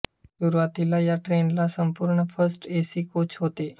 सुरुवातीला या ट्रेन ला संपूर्ण फर्स्ट ए सी कोच होते